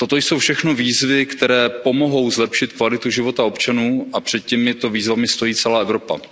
Toto jsou všechno výzvy, které pomohou zlepšit kvalitu života občanů, a před těmito výzvami stojí celá Evropa.